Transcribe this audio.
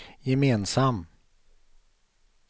gemensam